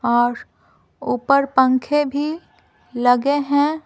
और ऊपर पंखे भी लगे हैं।